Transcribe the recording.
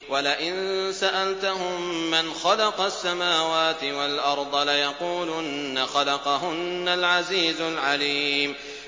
وَلَئِن سَأَلْتَهُم مَّنْ خَلَقَ السَّمَاوَاتِ وَالْأَرْضَ لَيَقُولُنَّ خَلَقَهُنَّ الْعَزِيزُ الْعَلِيمُ